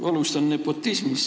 Alustan nepotismist.